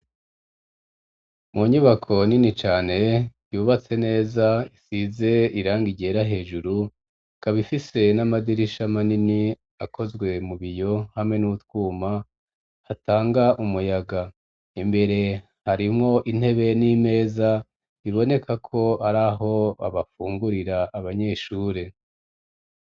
Mu nyubako nini cane yubatse neza isize irangi ryera hejuru ikaba ifise n'amadirisha manini akozwe mu biyo hamwe n'utwuma hatanga umuyaga imbere harimwo intebe n'imeza iboneka ko ari aho babafungurira abanyeshure.